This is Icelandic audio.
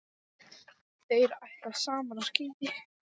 Þeir ætla saman á skíði.